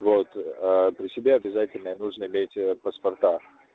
вот при себе обязательно нужно иметь паспорта